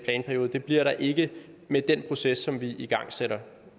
planperiode det bliver der ikke med den proces som vi igangsætter